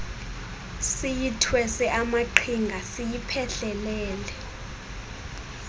siyithwese amaqhinga siyiphehlelele